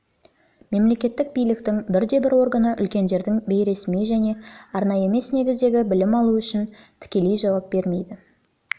мемлекеттік биліктің бірде бір органы үлкендердің бейресми және арнайы емес негіздегі білім алуы үшін тікелей жауап бермейді